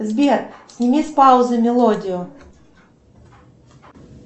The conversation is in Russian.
сбер сними с паузы мелодию